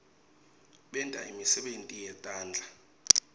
benta imisebenti yetandla